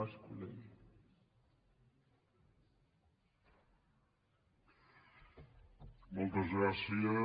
moltes gràcies